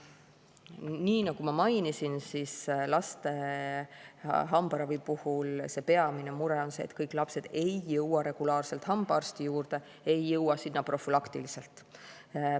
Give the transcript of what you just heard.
" Nii nagu ma mainisin, laste hambaravi puhul on peamine mure see, et kõik lapsed ei jõua regulaarselt hambaarsti juurde, ei jõua sinna profülaktiliselt.